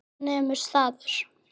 Hann nemur staðar.